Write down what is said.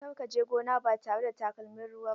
Kar ka je gona ba tare da takalmin ruwa ba!